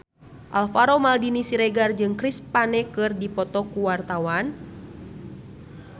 Alvaro Maldini Siregar jeung Chris Pane keur dipoto ku wartawan